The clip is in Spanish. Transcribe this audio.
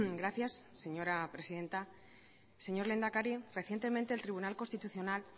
gracias señora presidenta señor lehendakari recientemente el tribunal constitucional